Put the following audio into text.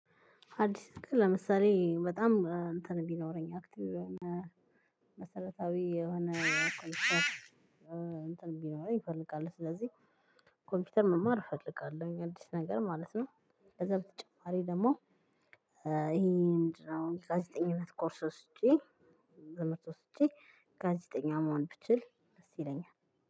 አዲስ ጋር ለምሳሌ በጣም እንትን ቢኖረኝ አክቲቭ የሆነ መሰረታዊ የሆነ ኮምፑተር። እንትን ቢሮ ይፈልጋል ስለዚህ ኮምፒውተር መማር እፈልጋለሁ። አዲስ ነገር ማለት ነው። ከዛ በተጨማሪ ደግሞ ይሄ ምንድን ነው? ጋዜጠኝነት ኮርሶች። ወስጄ ጋዜጠኛ መሆን ብችል ደስ ይለኛል።